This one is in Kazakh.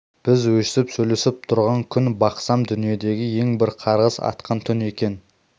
біз өстіп сөйлесіп тұрған түн бақсам дүниедегі ең бір қарғыс атқан түн екен